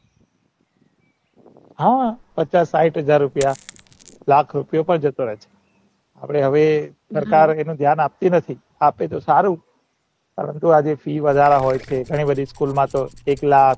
હા પાછા સાઈઠ હાજર રૂપિયા લાખ રૂપિયા પણ જતા રહે છે અને હવે સરકાર એનું ધ્યાન આપતી નાતી આપે તો સારું કારણ કે જે અ fee વધારા હોય છે ઘણી બધી school ના તો એક લાખ